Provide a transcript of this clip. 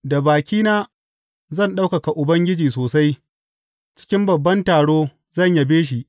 Da bakina zan ɗaukaka Ubangiji sosai; cikin babban taro zan yabe shi.